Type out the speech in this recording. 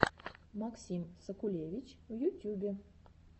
максим сакулевич в ютюбе